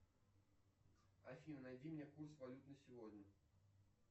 афина найди мне курс валют на сегодня